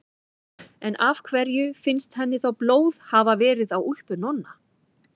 En af hverju finnst henni þá blóð hafa verið á úlpu Nonna?